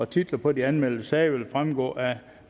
titlerne på de anmeldte sager vil fremgå af